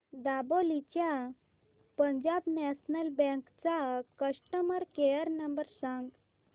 दापोली च्या Punjab National Bank चा customer care number सांग